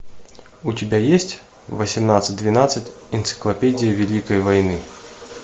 у тебя есть восемнадцать двенадцать энциклопедия великой войны